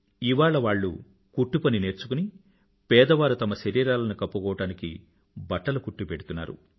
ఇవాళ వాళ్ళు కుట్టు పని నేర్చుకుని పేదవారు తమ శరీరాలను కప్పుకోవడానికి బట్టలు కుట్టిపెడుతున్నారు